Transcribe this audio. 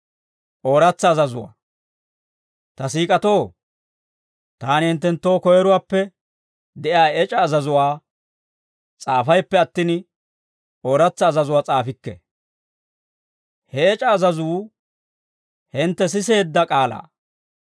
Ta siik'atoo, taani hinttenttoo koyiruwaappe de'iyaa ec'a azazuwaa s'aafayppe attin, ooratsa azazuwaa s'aafikke; he ec'a azazuu hintte siseedda k'aalaa.